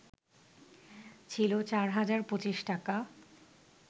ছিল ৪ হাজার ২৫ টাকা